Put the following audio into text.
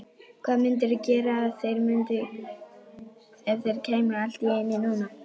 Hvað mundirðu gera ef þeir kæmu allt í einu núna?